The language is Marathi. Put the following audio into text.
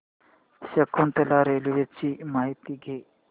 शकुंतला रेल्वे ची माहिती द्या